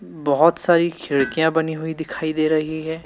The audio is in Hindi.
बहुत सारी खिड़कियां बनी हुई दिखाई दे रही है।